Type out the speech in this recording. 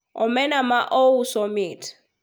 omena ma ouso mit